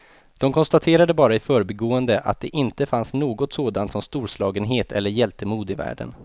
De konstaterade bara i förbigående att det inte fanns något sådant som storslagenhet eller hjältemod i världen.